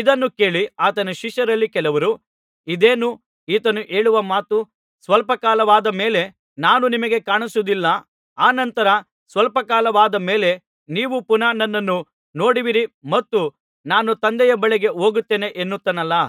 ಇದನ್ನು ಕೇಳಿ ಆತನ ಶಿಷ್ಯರಲ್ಲಿ ಕೆಲವರು ಇದೇನು ಈತನು ಹೇಳುವ ಮಾತು ಸ್ವಲ್ಪ ಕಾಲವಾದ ಮೇಲೆ ನಾನು ನಿಮಗೆ ಕಾಣಿಸುವುದಿಲ್ಲ ಅನಂತರ ಸ್ವಲ್ಪ ಕಾಲವಾದ ಮೇಲೆ ನೀವು ಪುನಃ ನನ್ನನ್ನು ನೋಡುವಿರಿ ಮತ್ತು ನಾನು ತಂದೆಯ ಬಳಿಗೆ ಹೋಗುತ್ತೇನೆ ಎನ್ನುತ್ತಾನಲ್ಲಾ